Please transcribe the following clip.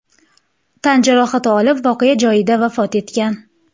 tan jarohati olib voqea joyida vafot etgan.